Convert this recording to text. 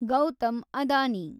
Gautam Adani